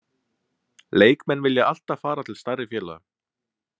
Leikmenn vilja alltaf fara til stærri félaga.